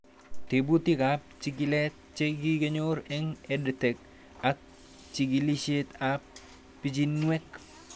Tebutik ab chikilet che kikinyor eng' EdTech ak chig'ilishet ab pichiinwek